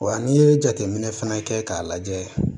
Wa n'i ye jateminɛ fɛnɛ kɛ k'a lajɛ